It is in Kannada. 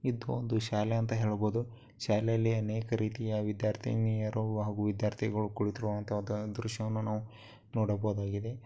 ಇದು ಒಂದು ಶಾಲೆ ಅಂತ ಹೇಳಬಹುದು ಶಾಲೆಯಲ್ಲಿ ಅನೇಕ ರೀತಿಯ ವಿದ್ಯಾರ್ಥಿನಿಯರು ವಿದ್ಯಾರ್ಥಿಗಳು ಕುಳಿತಿರುವಂತಹ ಒಂದು ದೃಶ್ಯವನ್ನು ನಾವು ನೋಡಬಹುದಾಗಿದೆ.